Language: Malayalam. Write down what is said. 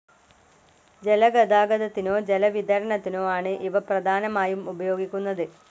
ജലഗതാഗതത്തിനോ ജല വിതരണത്തിനോ ആണ് ഇവ പ്രധാനമായും ഉപയോഗിക്കുന്നത്.